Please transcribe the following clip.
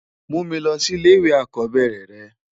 Mú mi lòsi ilé iwé àkòbèrè rè